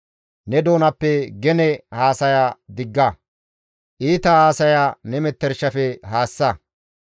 Ne doonappe gene haasaya digga; iita haasaya ne metershafe haassa.